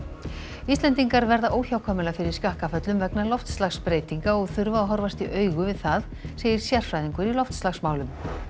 Íslendingar verða óhjákvæmilega fyrir skakkaföllum vegna loftslagsbreytinga og þurfa að horfast í augu við það segir sérfræðingur í loftslagsmálum